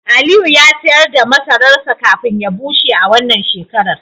Aliyu ya sayar da masararsa kafin ya bushe a wannan shekara